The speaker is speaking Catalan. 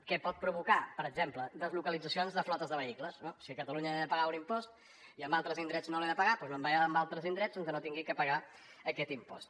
què pot provocar per exemple deslocalitzacions de flotes de vehicles no si a catalunya he de pagar un impost i en altres indrets no l’he de pagar doncs me’n vaig a altres indrets on no hagi de pagar aquest impost